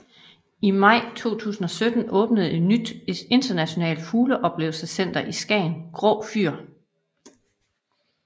I maj 2017 åbnede et nyt internationalt fugleoplevelsescenter i Skagen Grå Fyr